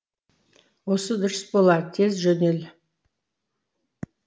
осы дұрыс болар тез жөдел